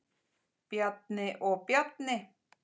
Bjarni og Bjarni